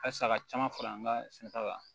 Halisa ka caman fara an ka sɛnɛ ta kan